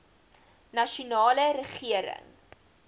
nasionale regering